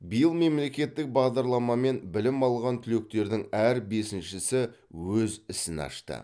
биыл мемлекеттік бағдарламамен білім алған түлектердің әр бесіншісі өз ісін ашты